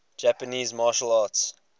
japanese martial arts